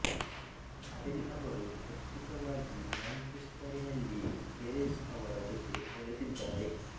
Adele ಅವರು ಪ್ರಸ್ತುತವಾಗಿ ಮ್ಯಾಂಚೆಸ್ಟರಿನಲ್ಲಿ ಗೆರೆಸ್ ಅವರ ಜೊತೆ ನೆಲೆಸಿದ್ದಾರೆ